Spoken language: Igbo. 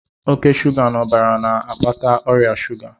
Oke shuga n'ọbara na-akpata ọrịa shuga